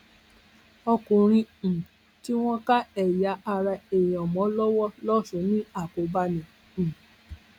ọkùnrin um tí wọn ká ẹyà ara èèyàn mọ lọwọ lọsùn ní àkóbá ni um